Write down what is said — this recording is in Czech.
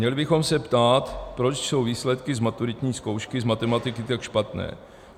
Měli bychom se ptát, proč jsou výsledky z maturitní zkoušky z matematiky tak špatné.